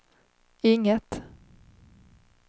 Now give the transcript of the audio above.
inget